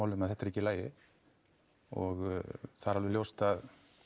um að þetta er ekki í lagi og það er alveg ljóst að